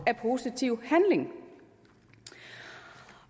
af positiv handling